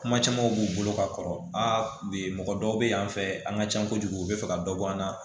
Kuma camanw b'u bolo ka kɔrɔ a bɛ mɔgɔ dɔw bɛ yan fɛ an ka ca kojugu u bɛ fɛ ka dɔ bɔ an na